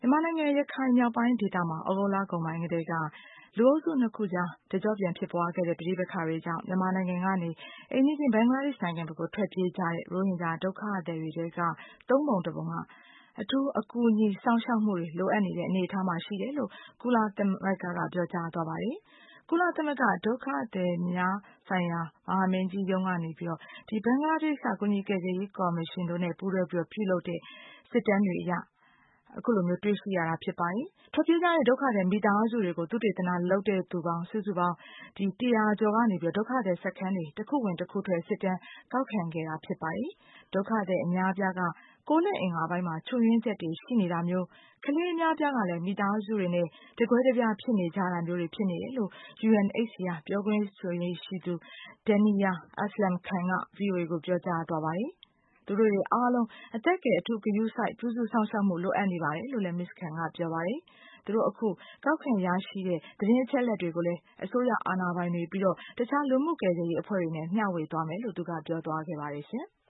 မြန်မာနိုင်ငံ ရခိုင်မြောက်ပိုင်းဒေသမှာ သြဂုတ်လကုန်ကတည်းက လူအုပ်စု ၂ ခုကြား တကျော့ပြန်ဖြစ်ပွားခဲ့တဲ့ ပဋိပက္ခတွေကြောင့် မြန်မာနိုင်ငံကနေ အိမ်နီးချင်း ဘင်္ဂလားဒေ့ရှ်နိုင်ငံဖက်ကို ထွက်ပြေးကြတဲ့ ရိုဟင်ဂျာဒုက္ခသည်တွေထဲက ၃ ပုံ ၁ ပုံက အထူးအကူအညီစောင့်ရှောက်မှုတွေ လိုအပ်နေတဲ့ အနေအထားမှာ ရှိတယ်လို့ ကုလသမဂ္ဂက ပြောကြားသွားပါတယ်။ ကုလသမဂ္ဂ ဒုက္ခသည်များဆိုင်ရာ မဟာမင်းကြီးရုံးကနေပြီးတော့ ဒီဘင်္ဂလားဒေ့ရှ်က ကူညီကယ်ဆယ်ရေးကော်မရှင်နဲ့ ပူးတွဲပြီးတော့ ပြုလုပ်တဲ့ စစ်တမ်းတွေအရ အခုလိုမျိုး တွေ့ရှိရတာ ဖြစ်ပါတယ်။ ဒီထွက်ပြေးကြတဲ့ မိသားစုတွေကို သုတေသနလုပ်တဲ့သူ စုစုပေါင်း ၁၀၀ ကျော်ကနေပြီးတော့ ဒုက္ခသည်စခန်းတွေ တခုဝင် တခုထွက် စစ်တမ်း ကောက်ခံခဲ့တာ ဖြစ်ပါတယ်။ ဒုက္ခသည် အများအပြားက ကိုယ်လက်အင်္ဂါပိုင်းမှာ ချို့ယွင်းချက်တွေ ရှိနေတာမျိုး၊ ကလေးအများအပြားကလည်း မိသားစုတွေနဲ့ တကွဲတပြား ဖြစ်နေကြတာမျိုးတွေ ဖြစ်နေတယ်လို့ UNHCR ပြောခွင့်ရ Duniya Aslam Khan က VOA ကို ပြောကြားသွားပါတယ်။ သူတို့တွေအားလုံး အသက်ကယ် အထူးဂရုစိုက် ပြုစုစောင့်ရှောက်မှုတွေ လိုအပ်နေပါတယ်လို့လည်း မစ္စ Khan က ပြောပါတယ်။ သူတို့ အခု ကောက်ခံရရှိတဲ့ သတင်းအချက်အလက်တွေကိုလည်း အစိုးရ အာဏာပိုင်တွေ၊ ပြီးတော့ တခြားလူမှု ကယ်ဆယ်ရေးအဖွဲ့တွေနဲ့ မျှဝေသွားမယ်လို့ သူက ပြောသွားခဲ့ပါတယ်ရှင်။